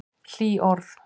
Hlý orð.